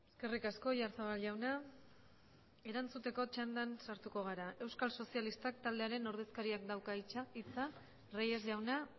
eskerrik asko oyarzabal jauna erantzuteko txandan sartuko gara euskal sozialistak taldearen ordezkariak dauka hitza reyes jauna